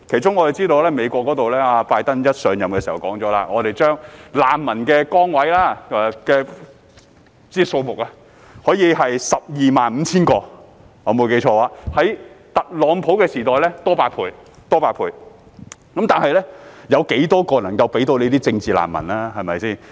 我們知道，美國總統拜登上任時表示，可以把難民名額增至 12,500 個，比特朗普時代多出8倍，但當中有多少個名額能夠撥給政治難民呢？